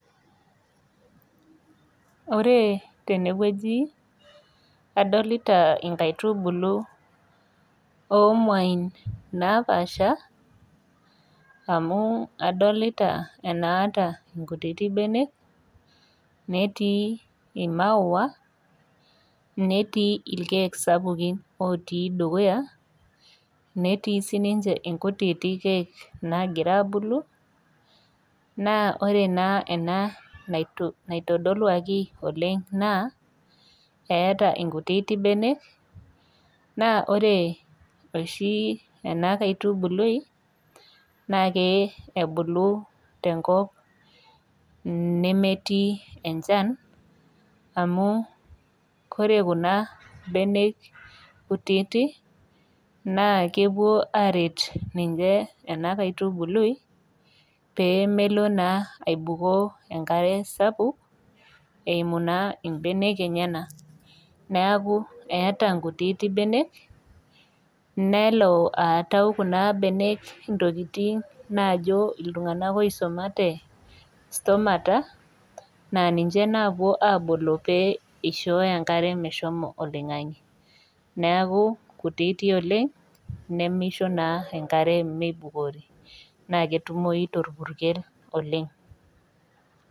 Oree tenewueji adolita inkaitubulu oomuain naapaasha amu adolita enaata inkutiti benek netii imaua, netii ilkeek sapuki ootii dukuya, netii sininche inkutiti keek naagiraabulu naa ore naa ena naitu naitodoluaki oleng' naa eata inkutiti benek naa ore oshii ena kaitubului nakee ebulu tenkop nnemetii enchan amu kore kuna benek kutiti naa kepuo aret ninche ena kaitubului pee melo naa aibukoo enkare sapuk eimu naa imbenek enyenak. Neaku eata nkutiti benek neloo aatau kuna benek ntokitin naajo iltung'anak oisomate stomata naa ninche napuo aabolo pee eishooyo enkare meshomo oloing'ang'e. Neaku kutiti oleng' nemeisho naa enkare meibukori naa ketumoyi torpurkel oleng'.